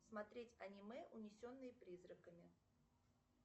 смотреть аниме унесенные призраками